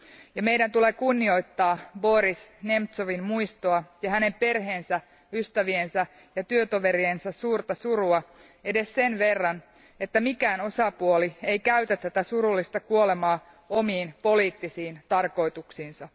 Ja meidän tulee kunnioittaa Boris Nemtsovin muistoa ja hänen perheensä, ystäviensä ja työtoveriensa suurta surua edes sen verran, että mikään osapuoli ei käytä tätä surullista kuolemaa omiin poliittisiin tarkoituksiinsa.